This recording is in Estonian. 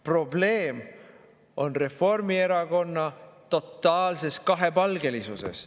Probleem on Reformierakonna totaalses kahepalgelisuses.